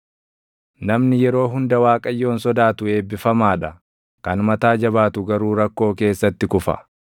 Namni yeroo hunda Waaqayyoon sodaatu eebbifamaa dha; kan mataa jabaatu garuu rakkoo keessatti kufa.